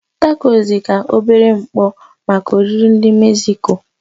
Tacos dị ka obere mkpọ maka oriri ndị Mexico.